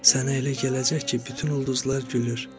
Sənə elə gələcək ki, bütün ulduzlar gülür.